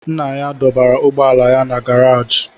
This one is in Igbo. Nna ya dọbara ụgbọala ya na gàráji